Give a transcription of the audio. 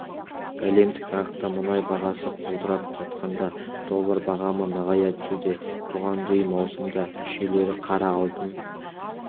әлемдік нарықта мұнай бағасы құлдырап жатқанда доллар бағамы нығая түсуде бұған дейін маусымда мүшелері қара алтын